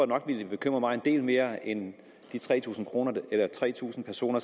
nok ville bekymre mig en del mere end de tre tusind tre tusind personer